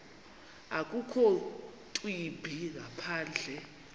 akukho ntwimbi ngaphandle